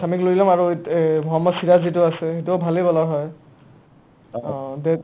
অ, ছামীক লৈ ল'ম আৰু মহম্মদ ছিৰাজ যিটো আছে সিটোও ভালে bowler হয়